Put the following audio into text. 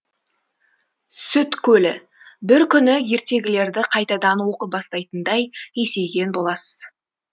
сүт көлі бір күні ертегілерді қайтадан оқи бастайтындай есейген боласыз